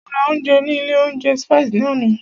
Mo ra ounjẹ ní ilé oúnjẹ Spices ní àná.